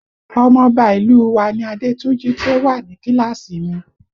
Ọmọ ọba ìlú u wa ni Adétúnjí tí ó wà ní kíláàsì mi